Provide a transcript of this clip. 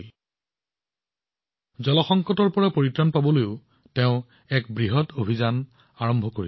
তেওঁ পানীৰ সংকটৰ পৰা পৰিত্ৰাণ পাবলৈ এক বৃহৎ অভিযানো আৰম্ভ কৰিছিল